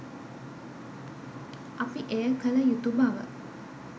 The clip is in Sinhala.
අපි එය කළ යුතු බව.